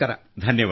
ಧನ್ಯವಾದ